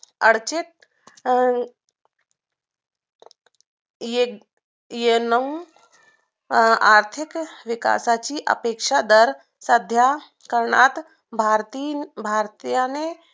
अडचणीत अं ए नऊ आर्थिक विकासाची अपेक्षा तर करण्यात सध्या भारतीन भारतीयाने